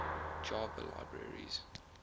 java libraries